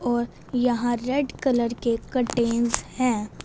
और यहां red colour के कर्टेनस है।